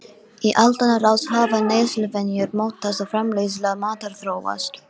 Í aldanna rás hafa neysluvenjur mótast og framleiðsla matar þróast.